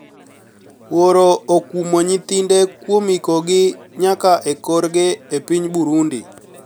Wuoro okumo niyithinide kuom ikogi niyaka e korgi e piniy Burunidi